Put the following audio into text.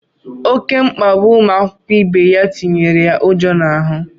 Oké mkpagbu ụmụ akwụkwọ ibe ya tinyere ya ụjọ n'ahụ.